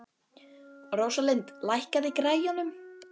Rósalind, lækkaðu í græjunum.